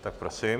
Tak prosím.